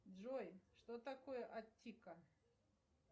джой что такое аттика